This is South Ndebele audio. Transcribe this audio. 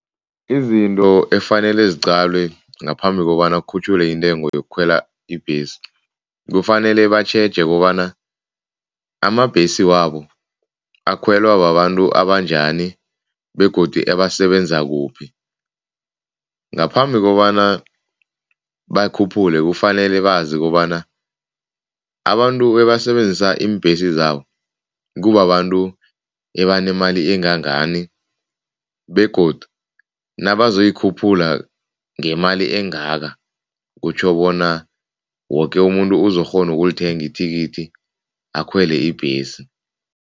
Izinto efanele ziqalwe ngaphambi kobana kukhutjhulwe intengo yokukhwela ibhesi, kufanele batjheje kobana amabhesi wabo akhwelwa babantu abanjani begodu ebasebenza kuphi. Ngaphambi kobana bakhuphule kufanele bazi ukobana abantu ebasebenzisa iimbhesi zabo kubabantu ebanemali engangani begodu nabazoyikhuphula ngemali engaka, kutjho bona woke umuntu uzokghona ukulithenga ithikithi akhwele ibhesi.